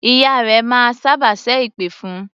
Ìyá rẹ máa sábà ṣẹ́ èpè fún un.